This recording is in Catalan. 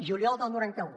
juliol del noranta un